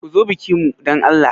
Ku zo bikin mu dan Allah.